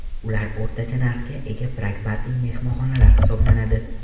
Ular o‘rtacha narxga ega pragmatik mehmonxonalar hisoblanadi.